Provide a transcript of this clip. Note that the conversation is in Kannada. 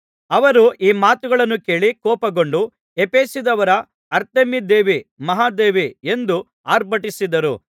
ಅವರು ಈ ಮಾತುಗಳನ್ನು ಕೇಳಿ ಕೋಪಗೊಂಡು ಎಫೆಸದವರ ಅರ್ತೆಮೀದೇವಿ ಮಹಾದೇವಿ ಎಂದು ಅರ್ಭಟಿಸಿದರು